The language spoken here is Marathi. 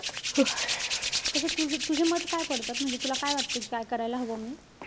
तस~ तस तुझे मत काय पडतात? म्हणजे तुला काय वाटतं कि काय करायला हवं मी?